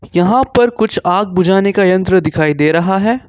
यहां पर कुछ आग बुझाने का यंत्र दिखाई दे रहा है।